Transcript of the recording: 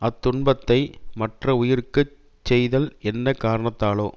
அத் துன்பத்தை மற்ற உயிருக்குச் செய்தல் என்ன காரணத்தாலோ